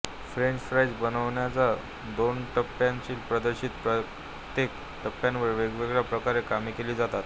French fries बनवण्याच्या दोनटप्प्याच्या पध्दतीत प्रत्येक टप्प्यात वेगवेगळ्या प्रकारे कामे केली जातात